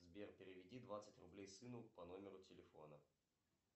сбер переведи двадцать рублей сыну по номеру телефона